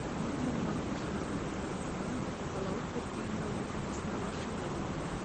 екі мың он алтыншы жылдың тамызынан қалалық көпбейінді ауруханасына басшылық етті